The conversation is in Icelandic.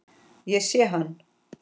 Ég sé hann